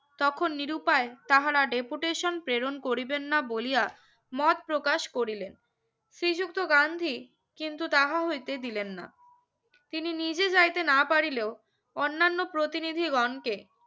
তখন নিরুপায় তাহারা deputation পেরণ করিবেন না বলিয়া মত প্রকাশ করিলেন শ্রীযুক্ত গান্ধী কিন্তু তাঁহা হইতে দিলেন না তিনি নিজে যাইতে না পারিলেও অন্যান্য প্রতিনিধিগনকে